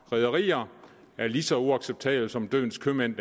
rederier er lige så uacceptable som dødens købmænd